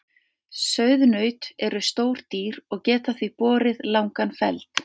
Sauðnaut eru stór dýr og geta því borið langan feld.